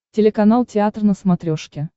телеканал театр на смотрешке